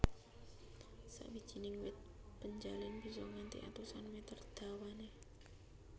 Sawijining wit penjalin bisa nganti atusan mèter dawané